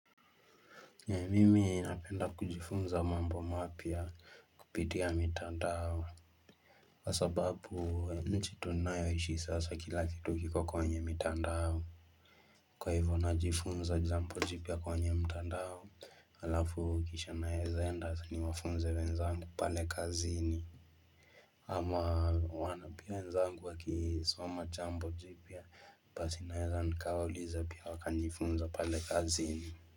Mimi napenda kujifunza mambo mapya kupitia mitandao kwasababu nchi tunayoishi sasa kila kitu kiko kwenye mitandao Kwa hivyo najifunza jambo jipya kwenye mtandao Alafu kisha naezanda niwafunze wenzangu pale kazini ama wanapia wenzangu wakisoma jambo jipia Basi naeza nkawuliza pia wakanifunza pale kazini.